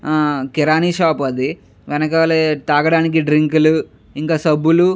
ఆ కిరాణా షాప్ అది వెనకాలే తాగడానికి డ్రింక్ లు ఇంకా సబ్బులు --